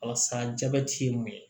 Walasa jabɛti ye mun ye